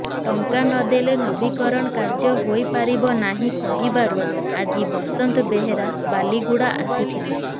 ଟଙ୍କା ନଦେଲେ ନବୀକରଣ କାର୍ଯ୍ଯ ହୋଇପାରିବ ନାହିଁ କହିବାରୁ ଆଜି ବସନ୍ତ ବେହେରା ବାଲିଗୁଡ଼ା ଆସିଥିଲେ